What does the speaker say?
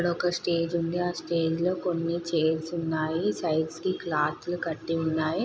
ఇక్కడ ఒక స్టేజి ఉంది. ఆ స్టేజి లో కోని చైర్స్ ఉన్నాయి. సైడ్స్ కి క్లోత్ లు కట్టి ఉన్నాయి.